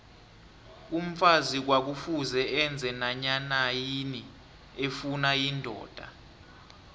umfazi kwakufuze enze nanyanayini efuna yindoda